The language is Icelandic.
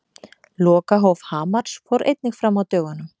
Lokahóf Hamars fór einnig fram á dögunum.